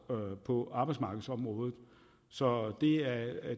på arbejdsmarkedsområdet så